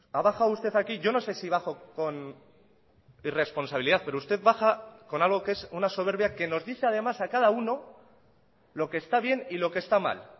ha bajado usted aquí yo no sé si bajo con irresponsabilidad pero usted baja con algo que es una soberbia que nos dice además a cada uno lo que está bien y lo que está mal